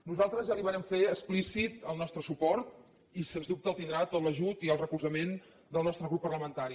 nosaltres ja li vàrem fer explícit el nostre suport i sens dubte tindrà tot l’ajut i el recolzament del nostre grup parlamentari